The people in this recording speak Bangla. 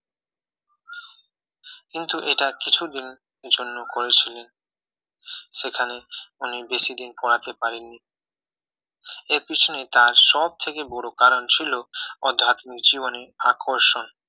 কিন্তু এটা কিছুদিনের জন্য করেছিলেন সেখানে উনি বেশি দিন পড়াতে পারেননি এর পিছনে তার সবথেকে বড় কারণ ছিল আধ্যাত্মিক জীবনী আকর্ষণ